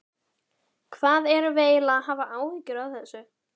Hvað erum við eiginlega að hafa áhyggjur af þessu?